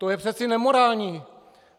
To je přece nemorální!